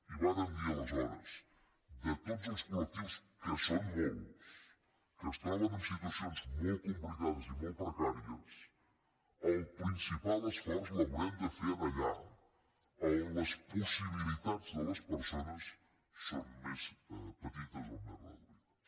i vàrem dir aleshores de tots els colsón molts que es troben en situacions molt complicades i molt precàries el principal esforç l’haurem de fer allà on les possibilitats de les persones són més petites o més reduïdes